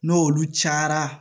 N'olu cayara